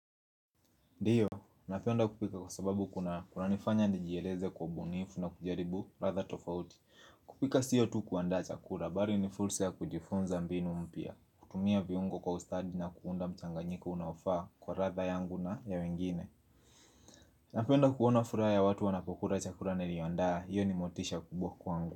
Ndio, napenda kupika kwa sababu kunanifanya nijieleze kwa ubunifu na kujaribu ladha tofauti. Kupika sio tu kuandaa chakula, bali ni fursa ya kujifunza mbinu mpya, kutumia viungo kwa ustadi na kuunda mchanganyiko unaofaa kwa ladha yangu na ya wengine Napenda kuona furaha ya watu wanapokula chakula naiandaa, hiyo ni motisha kubwa kwangu.